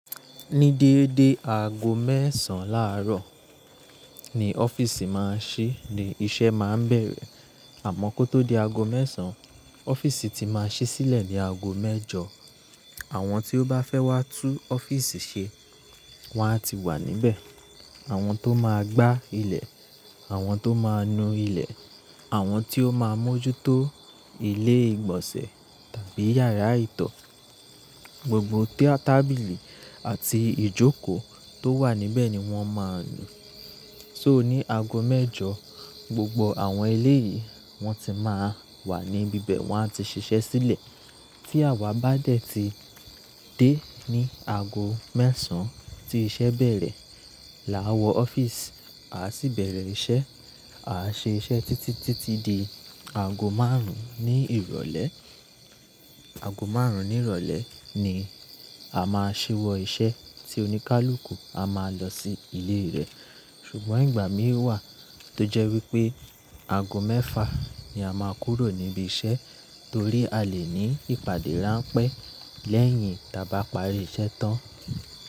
Ní déédé aago mẹ́ẹ̀sán láàárọ̀ ni ọ́fíìsì máa ń ṣí, ní iṣẹ́ máa ń bẹ̀rẹ̀. Àmọ́n kó tó di aago mẹ́sàn, ọ́fíìsì ti máa ṣí sílẹ̀ ní aago mẹ́jọ. Àwọn tí ó bá fẹ́ wá tú ọ́fíìsì ṣe, wọ́n á ti wà níbẹ̀. Àwọn tó máa gbá ilẹ̀, àwọn tó máa nu ilẹ̀, àwọn tí ó máa mójútó ilé ìgbọ̀nsẹ̀ tàbí yàrá ìtọ́. Gbogbo tábìlì àti ìjókòó tó wà níbẹ̀ ni wọ́n máa nu. So ní aago mẹ́jọ, gbogbo àwọn eléyìí wọ́n ti máa wà níbi ibẹ̀, wọ́n á ti ṣiṣẹ́ sílẹ̀. Tí àwa bá dẹ̀ ti dé ní aago mẹ́sàn tí iṣẹ́ bẹ̀rẹ̀, làa wọ ọ́fíìsì, a sì bẹ̀rẹ̀ iṣẹ́. A ṣe iṣẹ́ títí, títí di aago márùn-ún ní ìrọ̀lẹ́. Aago márùn-ún ní ìrọ̀lẹ́ ni a máa ṣíwọ́ iṣẹ́ tí oníkálukú a máa lọ sí ilé rẹ̀. Ṣùgbọ́n ìgbà mín wà tó jẹ́ wípé aago mẹ́fà ni a máa kúrò níbi iṣẹ́ torí a lè ní ìpàdé ránpẹ́ lẹ́yìn tí a bá parí iṣẹ́ tán.